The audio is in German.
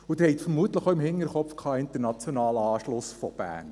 Sie hatten vermutlich auch den internationalen Anschluss Berns im Hinterkopf;